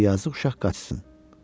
Qoy yazıq uşaq qaçsın.